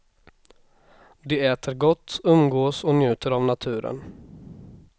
De äter gott, umgås och njuter av naturen.